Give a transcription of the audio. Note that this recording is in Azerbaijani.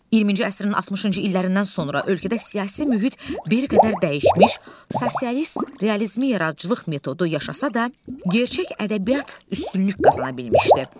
20-ci əsrin 60-cı illərindən sonra ölkədə siyasi mühit bir qədər dəyişmiş, sosialist realizmi yaradıcılıq metodu yaşasa da, gerçək ədəbiyyat üstünlük qazana bilmişdi.